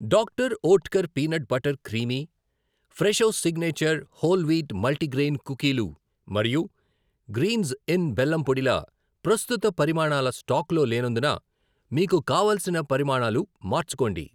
Doctor Oetker peanut butter creamy, Fresho signature whole wheat multigrain కుకీలు మరియు గ్రీంజ్ ఇన్ బెల్లం పొడి ల ప్రస్తుత పరిమాణాలు స్టాకులో లేనందున మీకు కావలసిన పరిమాణాలు మార్చుకోండి.